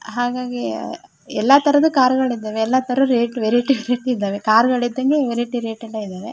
ಹಾಗಾಗಿ ಎಲ್ಲಾ ತರದ ಕಾರ್ ಗಳಿದವೆ ಎಲ್ಲಾ ತರ ರೇಟ್ ವೆರೈಟಿ ವೆರೈಟಿ ಇದಾವೆ ಕಾರ್ ಗಳಿದಂಗೆ ವೆರೈಟಿ ರೇಟ್ ಎಲ್ಲಾ ಇದಾವೆ.